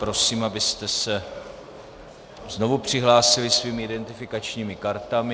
Prosím, abyste se znovu přihlásili svými identifikačními kartami.